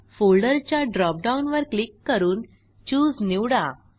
folder च्या dropdown वर click करून चूसे निवडा